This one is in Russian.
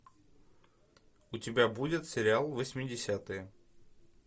у тебя будет сериал восьмидесятые